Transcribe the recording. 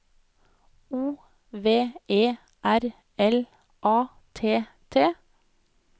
O V E R L A T T